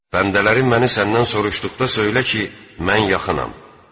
Bəndələrim məni səndən soruşduqda söylə ki, mən yaxınam.